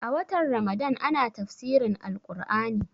A watan ramadan ana tafsirin Al Ƙur'ani